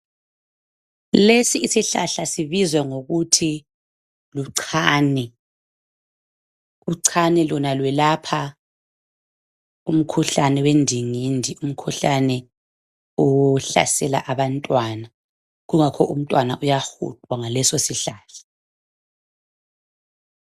Lesi isihlahla sibizwa ngokuthi luchane. Uchane lona lwelapha umkhuhlane owendingindi, umkhuhlane ohlasela bantwana kungakho umntwana uyafuthwa ngasoleso isihlahla.